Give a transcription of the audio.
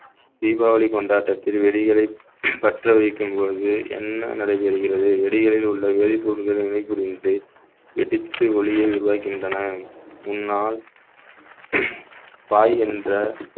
தீபாவளி கொண்டாட்டத்தில் வெடிகளை பற்ற வைக்கும் பொழுது என்ன நடைபெறுகிறது வெடிகளில் உள்ள வேதிப்பொருட்களை வினை புரிந்து வெடித்து ஒலியை உருவாக்குகின்றன உன்னால் பாய் என்ற